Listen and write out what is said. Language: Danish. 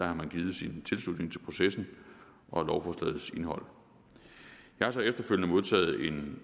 har man givet sin tilslutning til processen og lovforslagets indhold jeg har så efterfølgende modtaget en